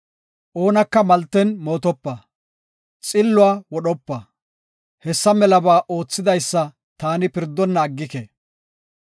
Oonaka malten mootopa; xilluwa wodhopa. Hessa melaba oothidaysa taani pirdonna aggike.